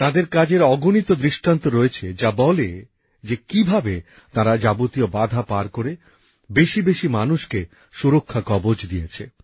তাঁদের কাজের অগণিত দৃষ্টান্ত রয়েছে যার মাধ্যমে তাঁরা যাবতীয় বাধা পার করে বেশিবেশি মানুষকে সুরক্ষা কবচ দিয়েছেন